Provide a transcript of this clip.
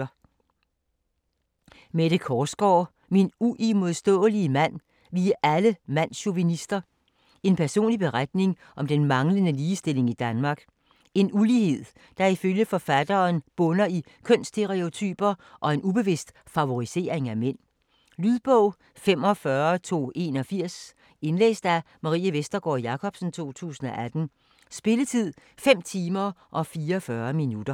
Korsgaard, Mette: Min uimodståelige mand: vi er alle mandschauvinister En personlig beretning om den manglende ligestilling i Danmark. En ulighed der ifølge forfatteren bunder i kønsstereotyper og en ubevidst favorisering af mænd. Lydbog 45281 Indlæst af Marie Vestergård Jacobsen, 2018. Spilletid: 5 timer, 44 minutter.